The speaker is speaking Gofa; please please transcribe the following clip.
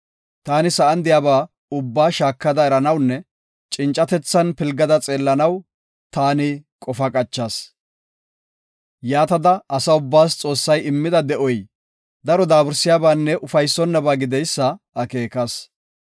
Taani sa7an de7iyaba ubbaa shaakada eranawunne cincatethan pilgada xeellanaw qofa qachas. Yaatada asa ubbaas Xoossay immida de7oy daro daabursiyabaanne ufaysonnaba gideysa akeekas.